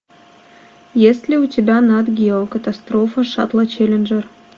есть ли у тебя нат гео катастрофа шаттла челленджер